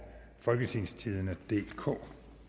folketingstidende DK